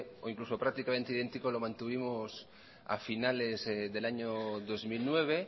o incluso prácticamente idéntico lo mantuvimos a finales del año dos mil nueve